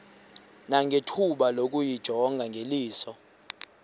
nangethuba lokuyijonga ngeliso